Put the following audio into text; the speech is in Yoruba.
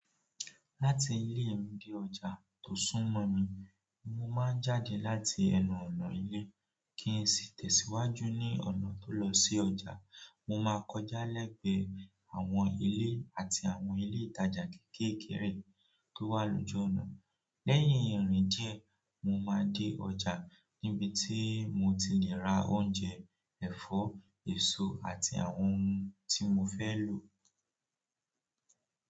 Láti ilé mi dé ọjà tó súnmọ́ mi, mo máa ń jáde láti ẹnù ọ̀nà ilé kí n sì tẹ̀síwájú ní ọ̀nà tó lọ sí ọjà. Mo máa kọjá lẹ́gbẹ̀ẹ́ àwọn ilé àti àwọn ilé ìtajà kéékèèké tó wà lójú ọ̀nà. Lẹ́yìn ìrìn díẹ̀, mo máa dé ọjà níbi tí mo ti le ra oúnjẹ, ẹ̀fọ́, èso àti àwọn ohun tí mo fẹ́ lò.